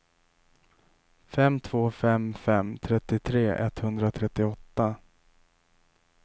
fem två fem fem trettiotre etthundratrettioåtta